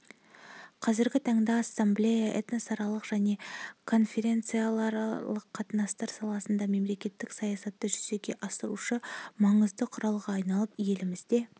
қазіргі таңда ассамблея этносаралық және конфессияаралық қатынастар саласындағы мемлекеттік саясатты жүзеге асырушы маңызды құралға айналып елімізде